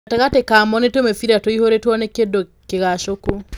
Gatagatĩ ka mo nĩ tũmĩbira tũihũrĩtio nĩ kĩndũ kĩgucũku.